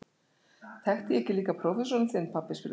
Þekkti ég ekki líka prófessorinn þinn, pabbi? spurði Kristín.